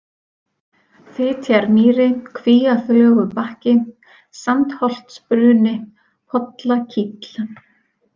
Fitjarmýri, Kvíaflögubakki, Sandsholtsbruni, Pollakíll